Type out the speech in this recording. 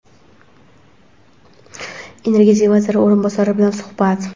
Energetika vaziri o‘rinbosari bilan suhbat.